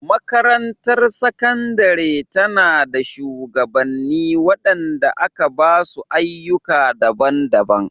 Makarantar Sakandare ta nada shugabanni wadanda aka ba su ayyuka daban-daban.